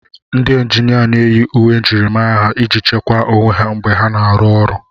Ndị injinia na-eyi uwe njirimara ha iji chekwaa onwe ha mgbe ha na-arụ ọrụ.